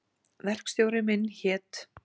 Verkstjóri minn hét